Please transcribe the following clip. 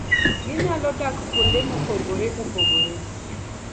Ginyalo dak kuonde mopogore opogore.